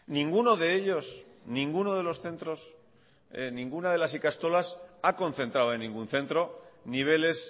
ninguno de ellos ninguno de los centros ninguna de las ikastolas ha concentrado en ningún centro niveles